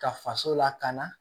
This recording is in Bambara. Ka faso lakana